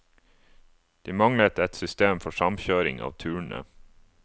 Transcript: De manglet et system for samkjøring av turene.